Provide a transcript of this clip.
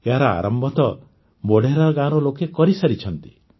ଏହାର ଆରମ୍ଭ ତ ମୋଢେରା ଗାଁର ଲୋକେ କରିସାରିଛନ୍ତି